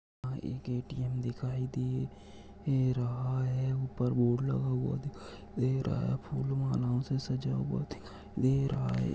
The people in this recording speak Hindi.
यह एक ए_टी_एम दिखाई दे रहा है ऊपर बोर्ड लगा हुआ दिखाई दे रहा है फूल मालाओ से सजा हुआ दिखाई दे रहा है।